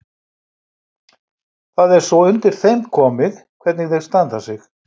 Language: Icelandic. Það er svo undir þeim komið hvernig þeir standa sig.